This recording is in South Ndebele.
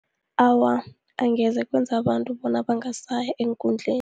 Awa, angeze kwenza abantu bonyana bangasaya eenkundleni.